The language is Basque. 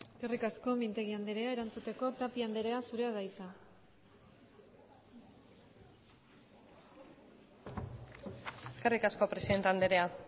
eskerrik asko mintegi andrea erantzuteko tapia andrea zurea da hitza eskerrik asko presidente andrea